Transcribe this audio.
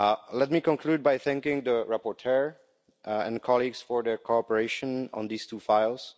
Let me conclude by thanking the rapporteur and colleagues for their cooperation on these two files.